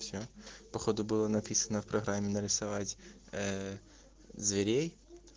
все походу было написано в программе нарисовать ээ зверей